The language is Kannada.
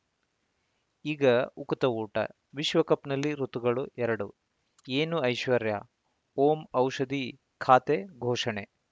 ಈಗ ಉಕುತ ಊಟ ವಿಶ್ವಕಪ್‌ನಲ್ಲಿ ಋತುಗಳು ಎರಡು ಏನು ಐಶ್ವರ್ಯಾ ಓಂ ಔಷಧಿ ಖಾತೆ ಘೋಷಣೆ